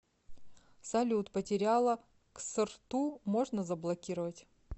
салют потеряла ксрту можно заблокировать